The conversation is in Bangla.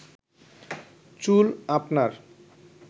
চুল আপনার